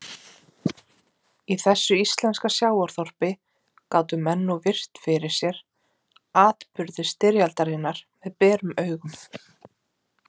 Í þessu íslenska sjávarþorpi gátu menn nú virt fyrir sér atburði styrjaldarinnar með berum augum.